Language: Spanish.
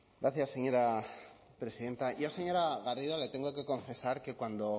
gracias señora presidenta yo señora garrido le tengo que confesar que cuando